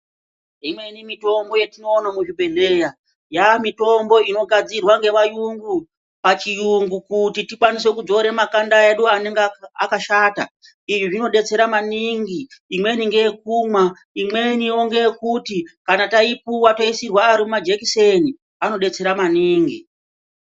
Imweni mitombo yatinoona muzvibhedhlera yamitombo inogadzirwa nevarungu pachirungu kuti tikwanise kudzora makanda edu anenge akashata izvi zvinodetsera maningi imweni ndeye kumwa imweniwo ndeye kuti kana taipuwa toisirwa Ari majekiseni anodetsera maningi.